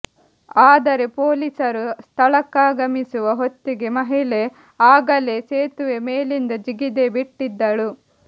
ಆದರೆ ಪೊಲೀಸರು ಸ್ಥಳಕ್ಕಾಗಮಿಸುವ ಹೊತ್ತಿಗೆ ಮಹಿಳೆ ಆಗಲೇ ಸೇತುವೆ ಮೇಲಿಂದ ಜಿಗಿದೇ ಬಿಟ್ಟಿದ್ದಳು